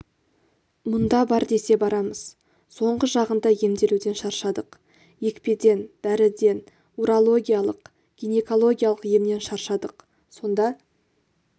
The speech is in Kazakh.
мұнда бар десе барамыз соңғы жағында емделуден шаршадық екпеден дәріден урологиялық гинекологиялық емнен шаршадық сонда